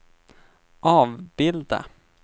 avbilda